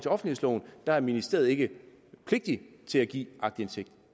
der er ministeriet ikke pligtig til at give aktindsigt